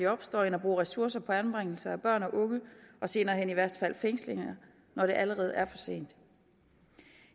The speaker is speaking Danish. opstår end at bruge ressourcer på anbringelse af børn og unge og senere hen i værste fald fængsling når det allerede er for sent